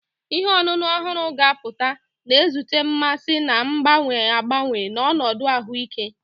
Ihe ọṅụṅụ ọhụrụ ga-apụta, na-ezute mmasị na-agbanwe agbanwe na ọnọdụ ahụike.